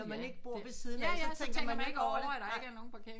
Når man ikke bor ved siden af så tænker man ikke over det nej